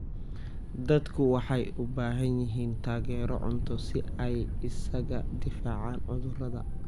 Dadku waxay u baahan yihiin taageero cunto si ay isaga difaacaan cudurrada.